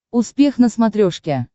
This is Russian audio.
успех на смотрешке